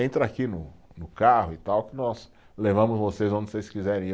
Entra aqui no no carro e tal, que nós levamos vocês onde vocês quiserem ir.